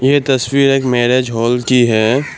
यह तस्वीर एक मैरिज हॉल की है।